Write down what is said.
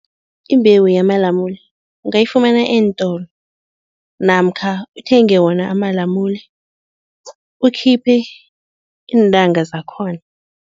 Imbewu yamalamule ungayifumana eentolo namkha uthenge wona amalamune, ukhiphe iintanga zakhona.